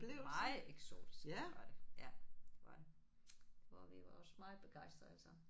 Meget eksotisk var det ja det var det og vi var også meget begejstrede alle sammen